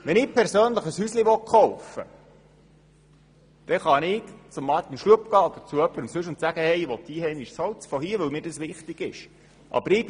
Wenn ich persönlich ein Haus kaufen will, kann ich zu Grossrat Schlup oder sonst jemandem gehen und ihm sagen, ich wolle einheimisches Holz, weil mir das wichtig ist.